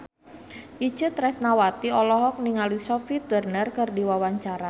Itje Tresnawati olohok ningali Sophie Turner keur diwawancara